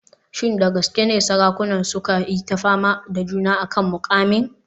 Shin da gaske ne sarakunan suka yi ta fama da juna a kan muƙamin?